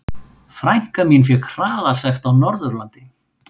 Frænka mín fékk hraðasekt á Norðurlandi.